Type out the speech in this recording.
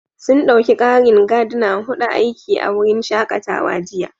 Sun ɗauki ƙarin Gardner huɗu aiki a wurin shakatawa jiya